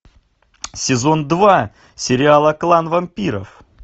сезон два сериала клан вампиров